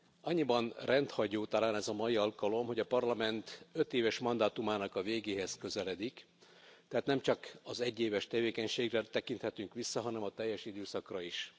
Annyiban rendhagyó talán ez a mai alkalom, hogy a Parlament ötéves mandátumának a végéhez közeledik, tehát nem csak az egyéves tevékenységre tekinthetünk vissza, hanem a teljes időszakra is.